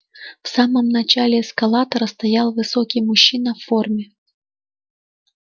в самом начале эскалатора стоял высокий мужчина в форме